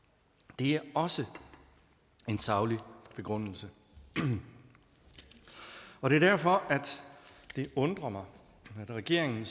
det er også en saglig begrundelse det er derfor at det undrer mig at regeringen